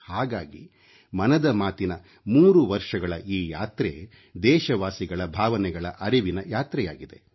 ಹಾಗಾಗಿ ಮನದ ಮಾತಿನ 3 ವರ್ಷಗಳ ಈ ಯಾತ್ರೆ ದೇಶವಾಸಿಗಳ ಭಾವನೆಗಳ ಅರಿವಿನ ಯಾತ್ರೆಯಾಗಿದೆ